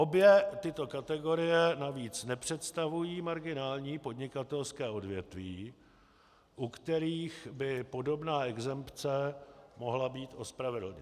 Obě tyto kategorie navíc nepředstavují marginální podnikatelské odvětví, u kterých by podobná exempce mohla být ospravedlněna.